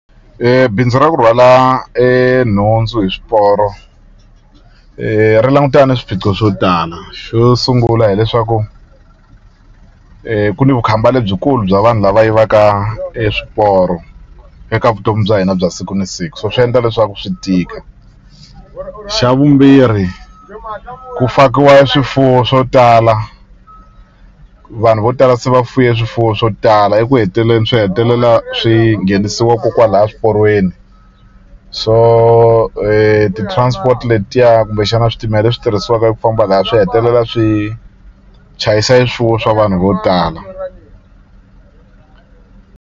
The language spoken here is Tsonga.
Bindzu ra ku rhwala nhundzu hi swiporo ri langutana na swiphiqo swo tala xo sungula hileswaku ku ni vukhamba lebyikulu bya vanhu lava yivaka e swiporo eka vutomi bya hina bya siku ni siku so swi endla leswaku swi tika xa vumbirhi ku fakiwa swifuwo swo tala vanhu vo tala se va fuye swifuwo swo tala eku heteleleni swi hetelela swi nghenisiwa ko kwala swiporweni so ti-transport letiya kumbexana switimela leswi tirhisiwaka eku famba laya swi hetelela swi chayisa e swifuwo swa vanhu vo tala.